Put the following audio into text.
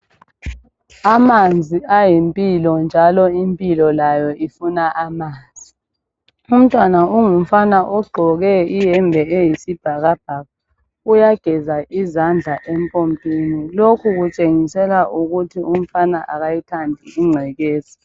Amanzi ayimpilo njalo impilo layo ifuna amanzi. Umntwana ongumfana ogqoke iyembe eyisibhakabhaka uyageza izandla empompini. Lokhu kutshengisela ukuthi umfana akayithandi ingcekeza.